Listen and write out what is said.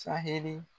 Sahɛli